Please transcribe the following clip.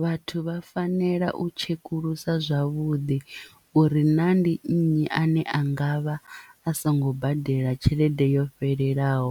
Vhathu vha fanela u tshekulusa zwavhuḓi uri na ndi nnyi ane a ngavha a songo badela tshelede yo fhelelaho